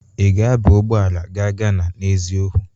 Ị ga-aba ụgbọ ala ga Gana n'eziokwu?